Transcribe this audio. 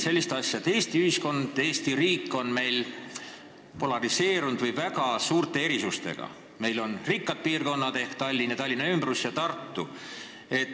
Aga Eesti ühiskond, Eesti riik on polariseerunud või väga suurte erisustega: meil on rikkad piirkonnad ehk Tallinn, Tallinna ümbrus ja Tartu.